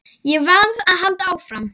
Ég varð að halda áfram.